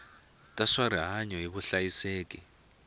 ta swa rihanyu ni vuhlayiseki